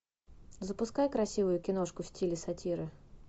запускай красивую киношку в стиле сатиры